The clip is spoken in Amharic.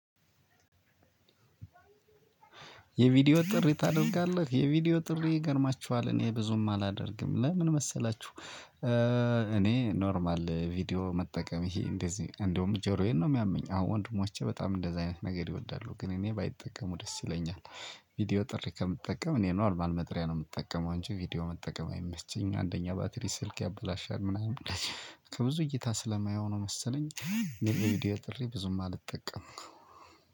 የቪዲዮ ጥሪ ታደርጋለህ የቪዲዮ ጥሪ ይገርማችኋል እኔ ብዙም አላደርግም ለምን መሰላችሁ? እኔ ኖርማል ቪዲዮ መጠቀም ይሄ እንደዚህ እንደውም ጆሮዬን ነው የሚያመኝ። አሁን ወንድሞቼ በጣም እንደዚህ አይነት ነገር ይወዳሉ ግን እኔ ባይጠቀሙ ደስ ይለኛል። ቪዲዮ ጥሪ ከምጠቀም እኔ ኖርማል መጠሪያ ነው የምጠቀመው እንጂ ቪዲዮ መጠቀም አይመቸኝም። አንደኛ ባትሪ ስልክ ያበላሻል ምናምን። ከብዙ እይታ ስለማየው ነው መሰለኝ። የቪዲዮ ጥሪ ብዙም አልጠቀምም።